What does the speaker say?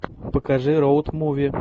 покажи роуд муви